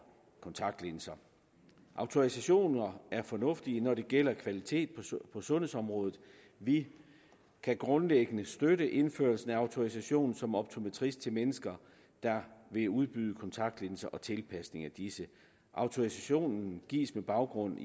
kontaktlinser autorisationer er fornuftige når det gælder kvalitet på sundhedsområdet vi kan grundlæggende støtte indførelsen af autorisation som optometrist til mennesker der vil udbyde kontaktlinser og tilpasning af disse autorisationen gives på baggrund